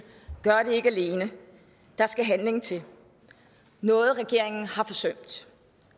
gør det alene der skal handling til noget regeringen har forsømt